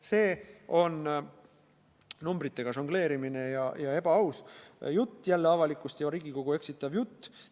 See on numbritega žongleerimine ja ebaaus, avalikkust ja Riigikogu eksitav jutt.